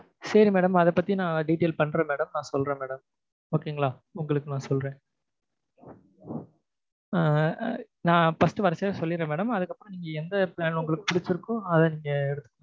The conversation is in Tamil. சரி madam அதை ப்பத்தி detail பண்றேன் madam நான் சொல்றேன் madam okay ங்களா? உங்களுக்கு நான் சொல்றேன் நான் first வரச்ச்சே சொல்லிர்றேன் madam அதுக்கு அப்புரம் உங்களுக்கு எந்த plan உங்களுக்கு பிடிச்சிருக்கோ அதை நீங்க எடுத்து